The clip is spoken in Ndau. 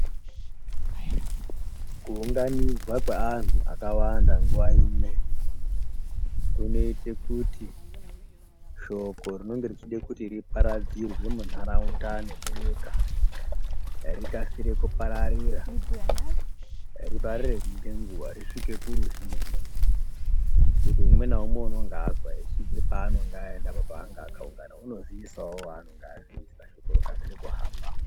Kuunganidzwa kweanhu akawanda nguwa imwe kunoite kuti shoko rinonga richide kuti riparadzurwe munharaunda nemunyika rikasire kupararira. Ripararire ngenguwa risvike kuruzhinji ngekuti umwe naumwe unenge azwa achibve paanonga abva panonga akaungana unoziisawo wanonga aziisa shoko rokasira kuhamba.